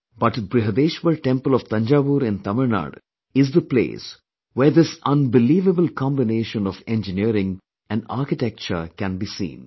But, Brihdeshwar temple of Thanjavur in Tamil Nadu is the place where this unbelievable combination of Engineering and Architecture can be seen